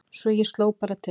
Svo ég sló bara til